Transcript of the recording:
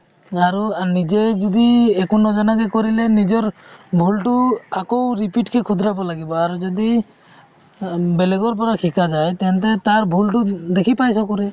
আৰু নিজে যদি একো নজনাকে কৰিলে নিজৰ ভুলটো আকৌ repeat কে সুধাৰব লাগিব আৰু যদি বেলেগৰ পৰা শিকা যাই তেন্তে তাৰ ভুলটো দেখি পাই চকুৰে